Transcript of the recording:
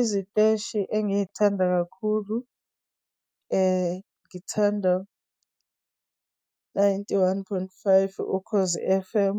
Iziteshi engiy'thanda kakhulu, ngithanda ninety-one point five Ukhozi F_M.